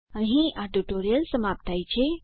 અહીં આ ટ્યુટોરીયલ સમાપ્ત થાય છે